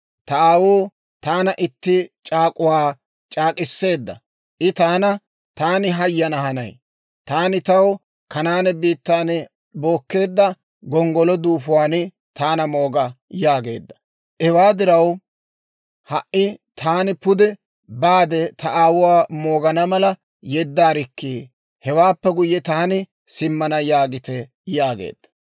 ‹Ta aawuu taana itti c'aak'uwaa c'aak'k'iseedda; I taana, «Taani hayana hanay; taani taw Kanaane biittaan bookkeedda gonggolo duufuwaan taana mooga» yaageedda. Hewaa diraw ha"i taani pude baade ta aawuwaa moogana mala yeddaarikkii! Hewaappe guyye taani simmana› yaagite» yaageedda.